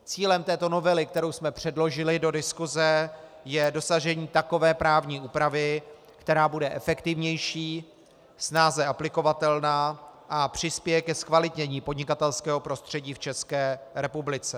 Cílem této novely, kterou jsme předložili do diskuse, je dosažení takové právní úpravy, která bude efektivnější, snáze aplikovatelná a přispěje ke zkvalitnění podnikatelského prostředí v České republice.